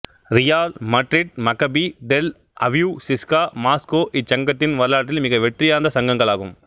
ரியால் Madrid Maccabi Tel Aviv CSKA Moscow இச்சங்கத்தின் வரலாற்றில் மிக வெற்றியார்ந்த சங்கங்கள் ஆகும்